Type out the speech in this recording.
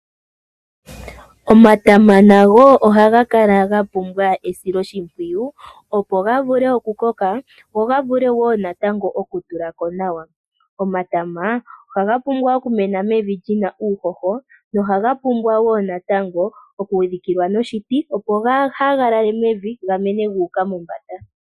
Omatama nago ohaga kala ga pumbwa esilo shimpwiyu opo ga vule oku koka go ga vule wo ga tule ko nawa. Omatama ohaga pumbwa oku mena mevi lyina uuhoho nohaga pumbwa wo natango okudhikilwa noshiti opo kaagalale mevi gamene guuka mombanda.